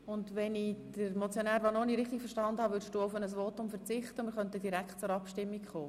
Und wenn ich Motionär Vanoni richtig verstanden habe, würdest du auf ein Votum verzichten und wir könnten direkt zur Abstimmung kommen?